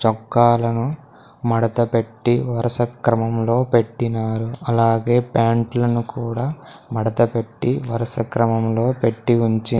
చొక్కాలను మడతపెట్టి వరుస క్రమంలో పెట్టినారు అలాగే ప్యాంట్ లను కూడా మడతపెట్టి వరుస క్రమంలో పెట్టి ఉంచి--